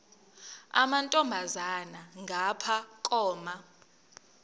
amantombazana ngapha koma